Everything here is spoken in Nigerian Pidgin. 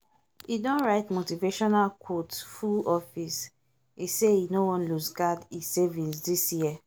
e don write motivational quote full office e say e no wan looseguard e savings this year